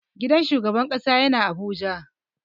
Gidan shugaban ƙasa yana abuja.